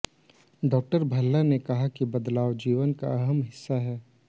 डा भल्ला ने कहा कि बदलाव जीवन का अहम हिस्सा हैं